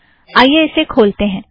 आइए इसे खोलतें हैं